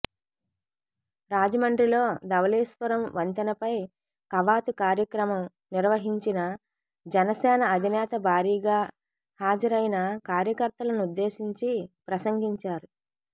రాజమండ్రిలో ధవళేశ్వరం వంతెనపై కవాతు కార్యక్రమం నిర్వహించిన జనసేన అధినేత భారీగా హాజరైన కార్యకర్తలనుద్దేశించి ప్రసంగించారు